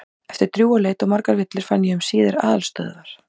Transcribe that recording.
Eftir drjúga leit og margar villur fann ég um síðir aðalstöðvar